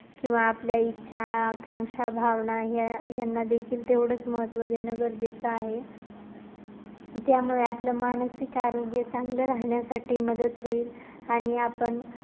किंवा आपल्या इच्छा, आकांक्षा, भावना यां यांना देतील तेवढेच महत्त्व देणे गरजेचे आहे. त्यामुळे आपलं मानसिक आरोग्य चांगलं राहण्यासाठी मदत होईल आणि आपण